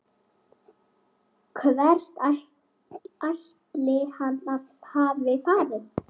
Hvert ætli hann hafi farið?